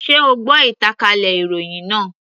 Sé o gbọ́ ìtànkálẹ̀ ìròhìn náà.